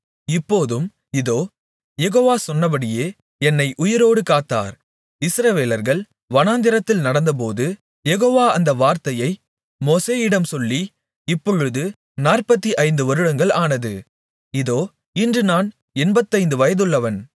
இப்போதும் இதோ யெகோவா சொன்னபடியே என்னை உயிரோடு காத்தார் இஸ்ரவேலர்கள் வனாந்திரத்தில் நடந்தபோது யெகோவா அந்த வார்த்தையை மோசேயிடம் சொல்லி இப்பொழுது 45 வருடங்கள் ஆனது இதோ இன்று நான் எண்பத்தைந்து வயதுள்ளவன்